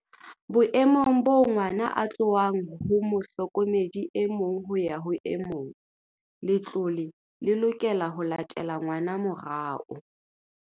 "Boemong boo ngwana a tlohang ho mohlokomedi e mong ho ya ho e mong, letlole le lokela ho latela ngwana morao."